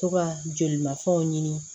To ka jolimafɛnw ɲini